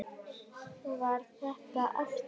Var þetta erfitt?